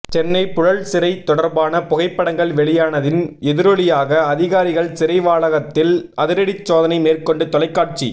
சென்னை புழல் சிறை தொடா்பான புகைப்படங்கள் வெளியானதின் எதிரொலியாக அதிகாாிகள் சிறை வளாகத்தில் அதிரடி சோதனை மேற்கொண்டு தொலைக்காட்சி